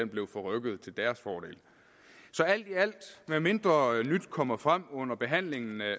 blev forrykket til deres fordel så alt i alt medmindre nyt kommer frem under behandlingen